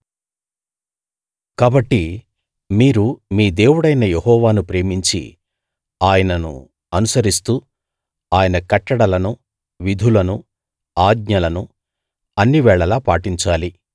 కాబట్టి మీరు మీ దేవుడైన యెహోవాను ప్రేమించి ఆయనను అనుసరిస్తూ ఆయన కట్టడలనూ విధులనూ ఆజ్ఞలనూ అన్నివేళలా పాటించాలి